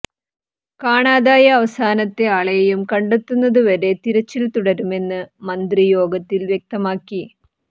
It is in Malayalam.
കാണാതായ അവസാനത്തെ ആളെയും കണ്ടെത്തുന്നതു വരെ തിരച്ചിൽ തുടരുമെന്ന് മന്ത്രി യോഗത്തിൽ വ്യക്തമാക്കി